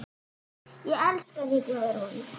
Ég elska þig, Guðrún.